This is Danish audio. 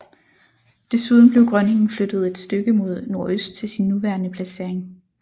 Desuden blev Grønningen flyttet et stykke mod nordøst til sin nuværende placering